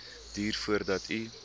duur voordat u